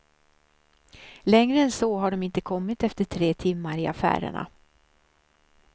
Längre än så har de inte kommit efter tre timmar i affärerna.